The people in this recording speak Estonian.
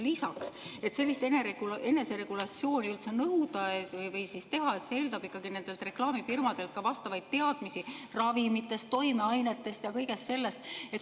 Lisaks, et üldse eneseregulatsiooni nõuda või et seda saaks teha, on ikkagi nendel reklaamifirmadel vaja vastavaid teadmisi ravimitest, toimeainetest ja kõigest sellest.